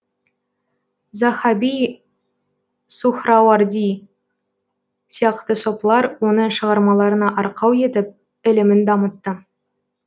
заһаби сухрауарди сияқты сопылар оны шығармаларына арқау етіп ілімін дамытты